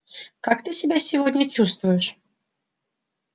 как ты себя сегодня чувствуешь